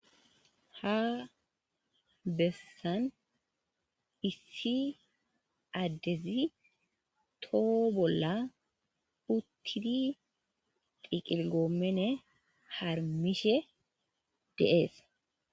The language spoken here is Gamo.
Ha bessan issi addezi toho bolla uththidi xiqilgoomene harmmishe de7ees.